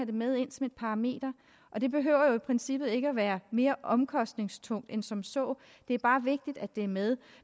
det med ind som et parameter og det behøver jo i princippet ikke være mere omkostningstungt end som så det er bare vigtigt at det er med